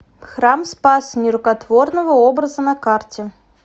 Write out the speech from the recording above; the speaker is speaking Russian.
храм спаса нерукотворного образа на карте